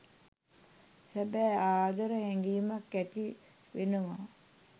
සැබෑ ආදර හැඟීමක් ඇති වෙනව